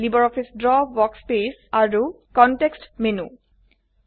LibreOffice Draw workspace আৰু আৰু context menu